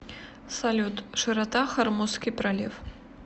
салют широта хормузский пролив